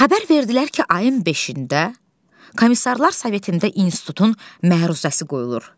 Xəbər verdilər ki, ayın beşində komissarlar sovetində institutun məruzəsi qoyulur.